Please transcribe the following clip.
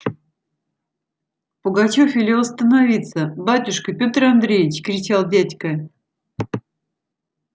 пугачёв велел остановиться батюшка петр андреич кричал дядька